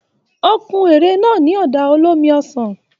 O kún ère náà ní ọ̀dà olómi ọsàn.